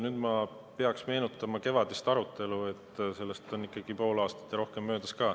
Nüüd ma pean meenutama kevadist arutelu, sellest on ikkagi pool aastat ja rohkem möödas.